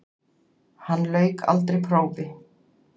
Hann lauk aldrei prófi.